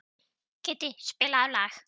Kiddi, spilaðu lag.